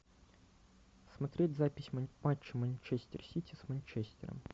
смотреть запись матча манчестер сити с манчестером